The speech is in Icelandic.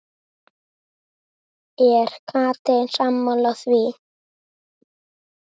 Er Katrín sammála því?